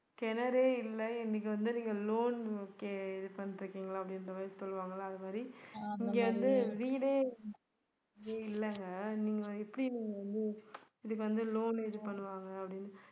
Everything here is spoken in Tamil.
கிணறே இல்ல இன்னைக்கு வந்து நீங்க loan okay இது பண்றீங்களா அப்படின்றமாதிரி சொல்லுவாங்கல்ல அதுமாதிரி இங்க வந்து வீடே எங்கேயும் இல்லங்க நீங்க எப்படி நீங்க வந்து இதுக்கு வந்து loan இது பண்ணுவாங்க அப்படின்னு